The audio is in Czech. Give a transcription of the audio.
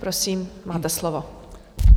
Prosím, máte slovo.